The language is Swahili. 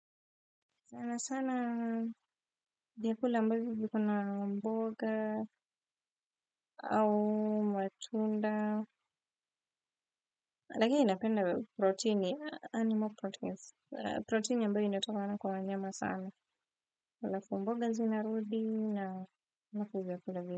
Sana sana vyakula ambavyo viko na mboga au matunda lakini napenda protini animal proteins protini ambayo inatokana kwa wanyama sana alafu mboga zinarudi na kujia kula vile.